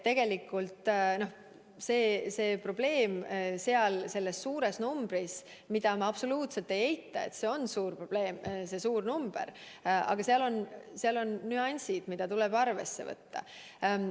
Nii et mis puutub sellesse suurde numbrisse, siis ma absoluutselt ei eita, et see on suur probleem, aga seal on ka nüansid, mida tuleb arvesse võtta.